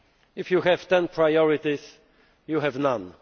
If you have 10 priorities, you have none.